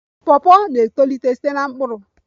Pawpaw na-etolite site na mkpụrụ